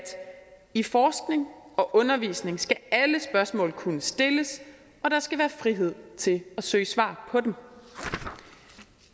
i forskning og undervisning skal alle spørgsmål kunne stilles og der skal være frihed til at søge svar på dem